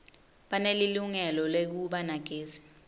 banelilungelo lekuba nagezi